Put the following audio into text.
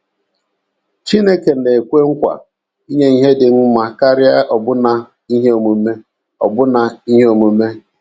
Chineke na - ekwe nkwa inye ihe dị mma karịa ọbụna ihe onwunwe ọbụna ihe onwunwe.